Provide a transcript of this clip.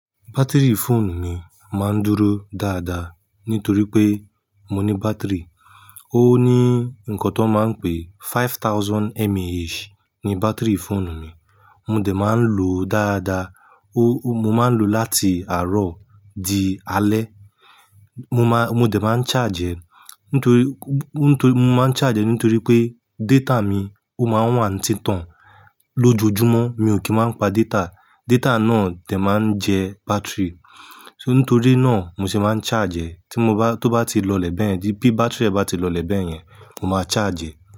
Batiri fóònù mi máa ń dúró dáadáa nítorí pé mo ní bátìrì. Ó ní nǹkan tó máa ń pe five thousand MAH ni bátìrì fóònù mi. Mo dè máa ń lò ó dáadáa. Ó, mo máa ń lò ó láti àárọ̀ di alẹ́. Mo máa, mo dè máa ń charge ẹ́. Nítorí, nítorí, mo máa ń charge ẹ́ nítorí pé data mi ó máa ń wà ní títàn lójoojúmọ́. Mi ò kí ń máa ń pa data. Data náà dè máa ń jẹ bátìrì. Nítorí náà mo se máa ń charge ẹ́. Tí mo bá, tó bá ti lọlẹ̀ bẹ́ẹ̀, bí bátìrì ẹ́ bá ti lọlẹ̀ bẹ́ẹ̀ yẹn, mo máa charge ẹ́.